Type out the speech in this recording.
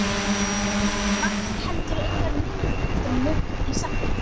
Vantar heldur engar myndir eftir Mugg í safnið?